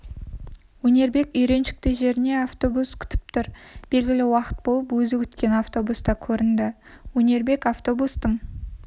өнербек үйреншікті жерінде автобус күтіп тұр белгілі уақыт болып өзі күткен автобус та көрінді өнербек автобустың